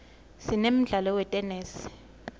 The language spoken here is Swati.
sinemdlalo wetenesi